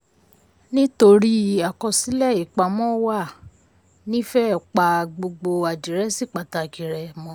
nítorí àkọsílẹ̀ ìpamọ́ wàá nífẹẹ́ pa gbogbo àdírẹ́sì pàtàkì rẹ mọ́.